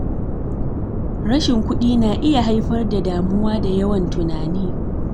Rashin kuɗi na iya haifar da damuwa da yawan tunani.